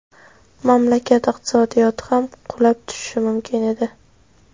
Mamlakat iqtisodiyoti ham qulab tushishi mumkin edi.